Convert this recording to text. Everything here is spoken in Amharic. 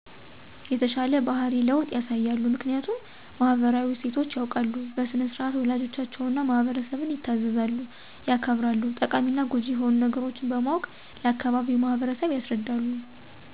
የተሻለ ባህሪ ለዉጥ ያሳያሉ። ምክኒያቱም ማህበራዊ እሴቶች ያዉቃሉ በሥነ -ስርዓት ወላጆቻቸዉን እና ማህበረሰብን ይታዘዛሉ ያከብራሉ። ጠቃሚና ጎጂ የሆኑ ነገሮች በማወቅ ለአካባቢዉ ማህበረሰብ ያስረዳሉ።